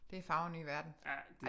Det fagre nye verden